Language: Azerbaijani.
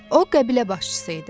O qəbilə başçısı idi.